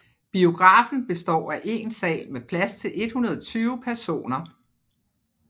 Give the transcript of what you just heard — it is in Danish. Biografen består af én sal med plads til 120 personer